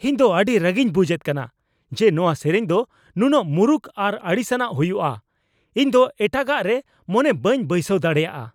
ᱤᱧ ᱫᱚ ᱟᱹᱰᱤ ᱨᱟᱹᱜᱤᱧ ᱵᱩᱡᱷᱮᱫ ᱠᱟᱱᱟ ᱡᱮ ᱱᱚᱣᱟ ᱥᱮᱨᱮᱧ ᱫᱚ ᱱᱩᱱᱟᱹᱜ ᱢᱩᱨᱩᱠ ᱟᱨ ᱟᱲᱤᱥᱟᱱᱟᱜ ᱦᱩᱭᱩᱜᱼᱟ ᱾ ᱤᱧ ᱫᱚ ᱮᱴᱟᱜᱟᱜ ᱨᱮ ᱢᱚᱱᱮ ᱵᱟᱹᱧ ᱵᱟᱹᱭᱥᱟᱹᱣ ᱫᱟᱲᱮᱭᱟᱜᱼᱟ ᱾